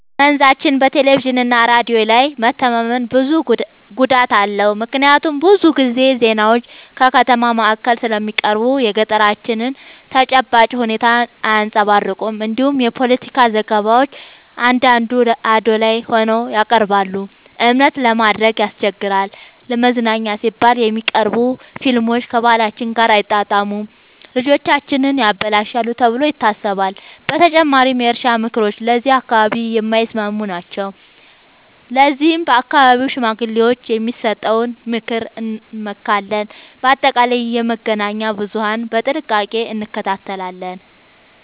በመንዛችን በቴሌቪዥንና ሬዲዮ ላይ መተማመን ጉዳት አለው፤ ምክንያቱም ብዙ ጊዜ ዜናዎች ከከተማ ማዕከል ስለሚቀርቡ የገጠራችንን ተጨባጭ ሁኔታ አያንጸባርቁም። እንዲሁም የፖለቲካ ዘገባዎች አንዳንዴ አዳላይ ሆነው ይቀርባሉ፤ እምነት ለማድረግ ያስቸግራል። ለመዝናኛ ሲባል የሚቀርቡ ፊልሞች ከባህላችን ጋር አይጣጣሙም፣ ልጆቻችንን ያበላሻሉ ተብሎ ይታሰባል። በተጨማሪም የእርሻ ምክሮች ለዚህ አካባቢ የማይስማሙ ናቸው፤ ለዚህም በአካባቢው ሽማግሌዎች የሚሰጠውን ምክር እንመካለን። በአጠቃላይ የመገናኛ ብዙሀንን በጥንቃቄ እንከታተላለን።